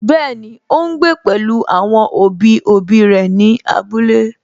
Bẹ́ẹ̀ni, ó ún gbé pẹ̀lú àwọn òbí òbí rẹ̀ ní abúlé